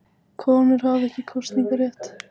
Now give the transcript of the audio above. Konur hafa ekki kosningarétt.